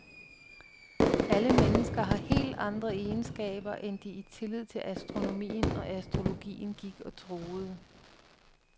Alle mennesker har helt andre egenskaber, end de i tillid til astronomien og astrologien gik og troede.